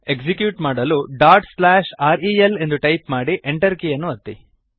execute ಮಾಡಲು dot slash R E L ಎಂದು type ಮಾಡಿ Enter ಕೀಯನ್ನು ಒತ್ತಿ